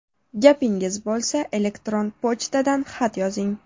Gapingiz bo‘lsa, elektron pochtadan xat yozing.